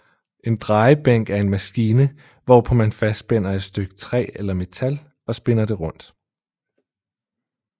En drejebænk er en maskine hvorpå man fastspænder et stykke træ eller metal og spinder det rundt